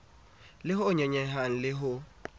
le ho nyonyehang le ho